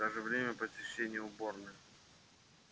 даже время посещения уборной